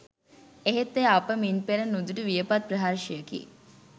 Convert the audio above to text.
එහෙත් එය අප මින් පෙර නුදුටු වියපත් ප්‍රහර්ෂයකි